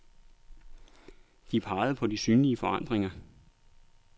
De pegede på de synlige forandringer.